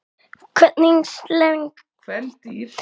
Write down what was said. Kvendýr sels nefnist urta.